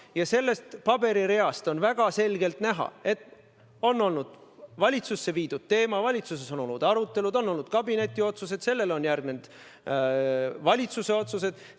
Ja sellest paberireast on väga selgelt näha, et on teema valitsusse viidud, valitsuses on olnud arutelud, on olnud kabineti otsus, sellele on järgnenud valitsuse otsused.